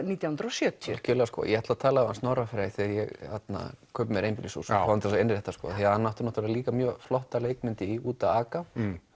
nítján hundruð og sjötíu algjörlega ég ætla að tala við Snorra Frey þegar ég kaupi mér einbýlishús fá hann til þess að innrétta hann átti líka mjög flotta leikmynd í úti að aka